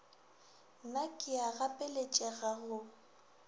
na ke a gapeletšega go